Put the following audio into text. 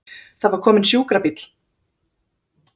Það var kominn sjúkrabíll!